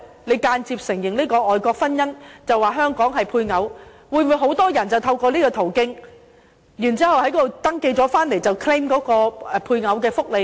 你間接承認外國婚姻，說他們在香港屬於配偶，會否令很多人透過此途徑在外國登記，然後回港 claim 配偶福利呢？